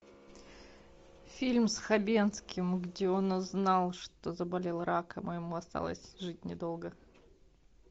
фильм с хабенским где он узнал что заболел раком и ему осталось жить недолго